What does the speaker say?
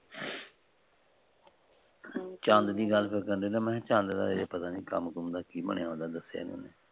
ਚੰਦ ਦੀ ਗੱਲ ਕਰਦਾ ਮੈ। ਚੰਦ ਦਾ ਹਜੇ ਪਟਾਂ ਨਹੀਂ ਕਿ ਬਣਿਆ ਕੰਮ ਕੁਮ ਦਾ ਉਹਦੇ। ਦੱਸਿਆ ਈ ਨਹੀਂ ਉਹਨੇ।